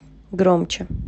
громче